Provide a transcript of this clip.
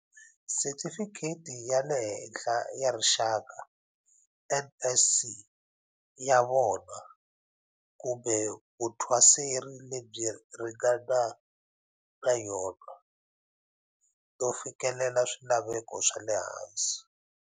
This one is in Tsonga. Sitifikheti ya le Henhla ya Rixaka, NSC, ya vona, kumbe vuthwaseri lebyi ringana na yona, no fikelela swilaveko swa le hansi.